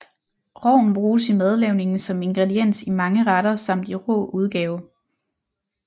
Rogn bruges i madlavning som ingrediens i mange retter samt i rå udgave